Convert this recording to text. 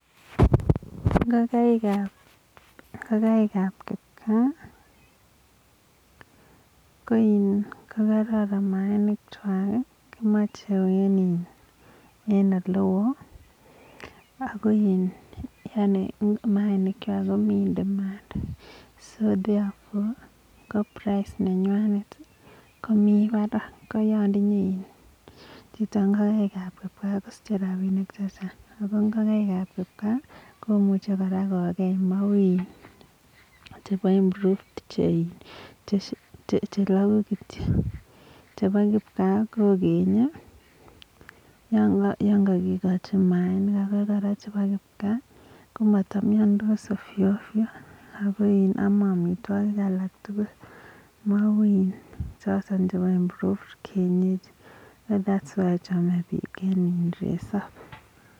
Ngokaik ap kikpkaa kokaran mayainik chwak, so therefore koprice nenwanet komi barak koyatinde chito ngokaik ap kipkaa kosiche rapinik chechang ako ngokaik ap kipkaa komuche kora kokee mau chebo improved chelagu kityo chepa kipkaa kokenye yangakikochin mayainik ako koraa chepo kipkaa komamnyandos ovyo ovyo ako ame amitwokik alak tukul mau choton chepo improved kienyeji.